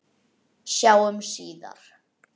Sjáumst síðar.